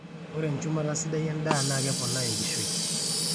ore enchumata sidai endaa naa keponaa enkishui